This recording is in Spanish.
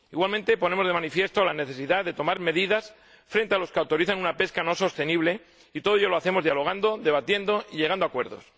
Igualmente, ponemos de manifiesto la necesidad de tomar medidas frente a los que autorizan una pesca no sostenible, y todo ello lo hacemos dialogando, debatiendo y llegando a acuerdos.